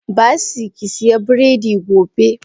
Basseiy kisiya biredi gobe.